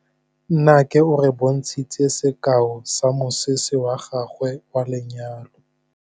Nnake o re bontshitse sekaô sa mosese wa gagwe wa lenyalo.